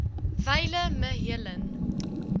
wyle me helen